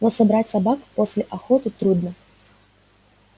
но собрать собак после охоты трудно